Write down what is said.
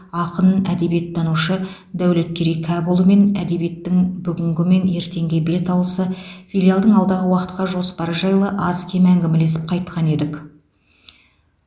ақын әдебиеттанушы дәулеткерей кәпұлымен әдебиеттің бүгінгі мен ертеңге беталысы филиалдың алдағы уақытқа жоспары жайлы аз кем әңгімелесіп қайтқан едік